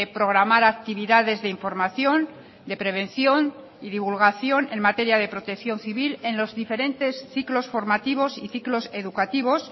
programar actividades de información de prevención y divulgación en materia de protección civil en los diferentes ciclos formativos y ciclos educativos